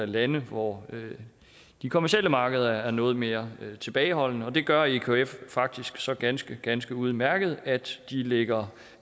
lande hvor de kommercielle markeder er noget mere tilbageholdende det gør ekf faktisk så ganske ganske udmærket at de lægger